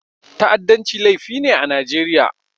Ta'addanci laifi ne a Najeriya.